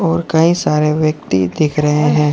और कई सारे व्यक्ति दिख रहे हैं।